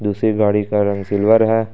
दूसरी गाड़ी का रंग सिल्वर है।